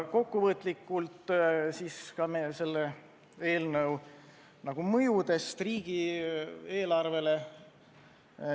Kokkuvõtlikult ka meie eelnõu mõjust riigieelarvele.